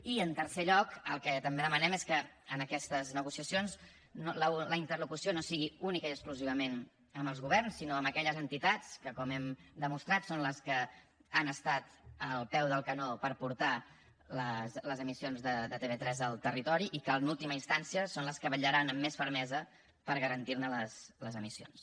i en tercer lloc el que també demanem és que en aquestes negociacions la interlocució no sigui únicament i exclusivament amb els governs sinó amb aquelles entitats que com hem demostrat són les que han estat al peu del canó per portar les emissions de tv3 al territori i que en última instància són les que vetllaran amb més fermesa per garantir ne les emissions